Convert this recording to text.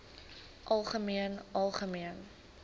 algemeen algemeen